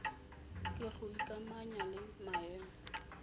ke go ikamanya le maemo